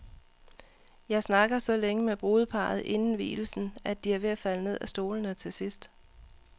Jeg snakker så længe med brudeparret inden vielsen, at de er ved at falde ned af stolene til sidst.